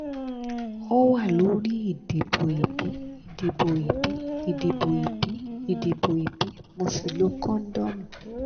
ó wà lórí ìdìbò ìbí ìdìbò ìbí ìdìbò ìbí ìdìbò ìbí mo sì lo kóndómì